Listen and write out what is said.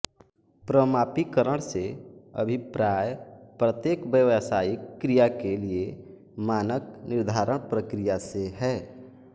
प्रमापीकरण से अभिप्राय प्रत्येक व्यावसायिक क्रिया के लिए मानक निर्धारण प्रक्रिया से है